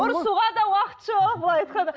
ұрысуға да уақыт жоқ былай айтқанда